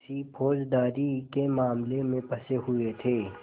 किसी फौजदारी के मामले में फँसे हुए थे